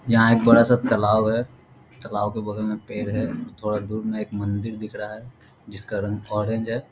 यहाँ एक बड़ा-सा तलाव है तलाव के बगल में पेड़ है थोड़ा दूर मे एक मंदिर दिख रहा है जिसका रंग ऑरेंज है।